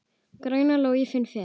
Græna ló ég finna fer.